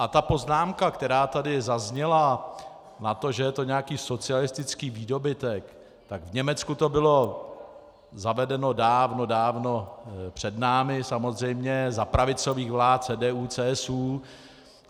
A ta poznámka, která tady zazněla na to, že je to nějaký socialistický výdobytek, tak v Německu to bylo zavedeno dávno, dávno před námi, samozřejmě za pravicových vlád CDU-CSU.